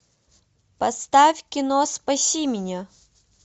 поставь кино спаси меня